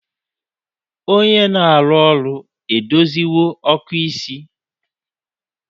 Onye na-arụ ọrụ edoziwo ọkụ isi?